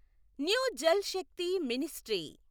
new Jal Shakti ministry